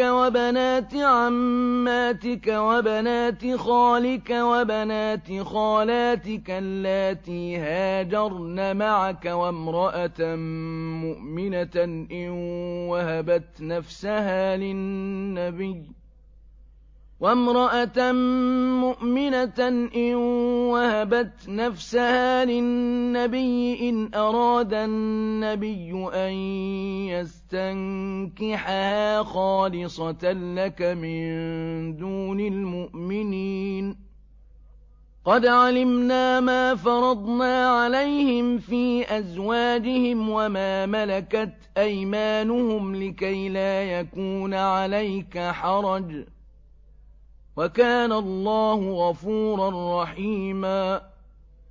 وَبَنَاتِ عَمَّاتِكَ وَبَنَاتِ خَالِكَ وَبَنَاتِ خَالَاتِكَ اللَّاتِي هَاجَرْنَ مَعَكَ وَامْرَأَةً مُّؤْمِنَةً إِن وَهَبَتْ نَفْسَهَا لِلنَّبِيِّ إِنْ أَرَادَ النَّبِيُّ أَن يَسْتَنكِحَهَا خَالِصَةً لَّكَ مِن دُونِ الْمُؤْمِنِينَ ۗ قَدْ عَلِمْنَا مَا فَرَضْنَا عَلَيْهِمْ فِي أَزْوَاجِهِمْ وَمَا مَلَكَتْ أَيْمَانُهُمْ لِكَيْلَا يَكُونَ عَلَيْكَ حَرَجٌ ۗ وَكَانَ اللَّهُ غَفُورًا رَّحِيمًا